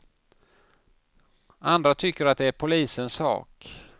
Andra tycker att det är polisens sak.